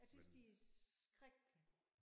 Jeg tys de er skrækkelige